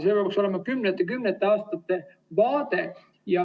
See peaks olema kümnete ja kümnete aastate vaade.